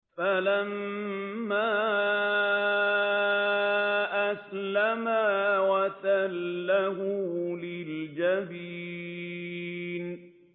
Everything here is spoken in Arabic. فَلَمَّا أَسْلَمَا وَتَلَّهُ لِلْجَبِينِ